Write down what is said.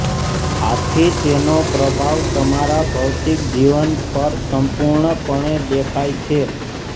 આથી તેનો પ્રભાવ તમારા ભૌતિક જીવન પર સંપૂર્ણપણે દેખાય છે